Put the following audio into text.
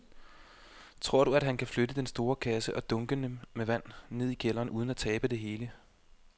Tror du, at han kan flytte den store kasse og dunkene med vand ned i kælderen uden at tabe det hele?